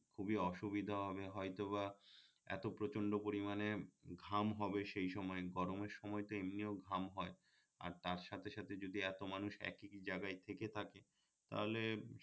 খুবই অসুবিধা হবে হয়তোবা এত প্রচন্ড পরিমানে ঘাম হবে সেই সময়ে গরমের সময় এমনিও ঘাম হয় আর তার সাথে সাথে যদি এত মানুষ একি জাগায় থেকে থাকে তাহলে